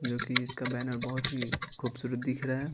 जो कि इसका बैनर बहुत ही खूबसूरत दिख रहा है।